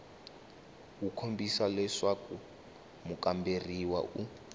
wu kombisa leswaku mukamberiwa u